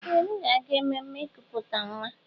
Ee! M ga-aga ememme ikuputa nwa.